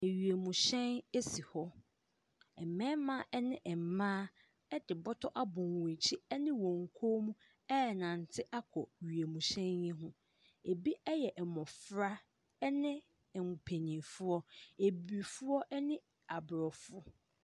Ewiemuhyɛn esi hɔ. Mmɛrima ɛne mmaa ɛde bɔtɔ abɔ wɔn akyi ɛne wɔn kɔn mu ɛnante akɔ wiemhyɛn mu. Ebi ɛyɛ mmofra ɛne mmpanyinfoɔ, abibifoɔ ɛne aborɔfo.